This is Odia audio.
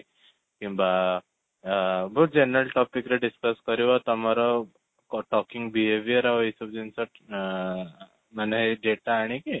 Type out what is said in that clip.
କିମ୍ବା ଅ ବହୁତ general topic ରେ discus କରିବ ତମର talking behavior ଆଉ ଏଇ ସବୁ ଜିନିଷ ଅ ମାନେ ଏଇ data ଆଣିକି